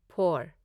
four